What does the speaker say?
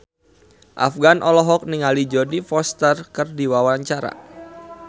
Afgan olohok ningali Jodie Foster keur diwawancara